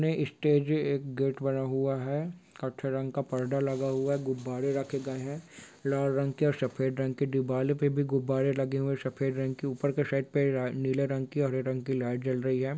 सामने स्टेज एक गेट बना हुआ है कथे रंग का पर्दा लगा हुआ है गुब्बारे रखे गए है लाल रंग के और सफेद रंग के दीवाल पे भी गुब्बारे लगे हुए है सफेद रंग के ऊपर के साइड पर नीले रंग की हरे रंग की लाइट जल रही है।